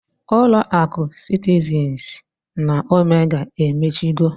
Ulo akụ sitizinz na omega emechigo.